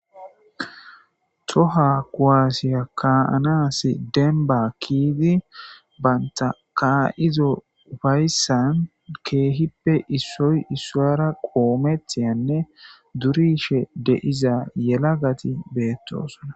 toha koaasiya kaanaasi denba kiidi banta ka7izo fayssan keehippe issoy issoyara qoomethiyanne durishe deiza yela gati beettosona